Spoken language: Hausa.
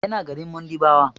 Yana garin Mundiɓawa.